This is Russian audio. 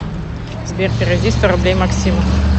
сбер переведи сто рублей максиму